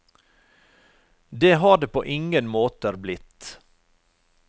Det har det på ingen måter blitt.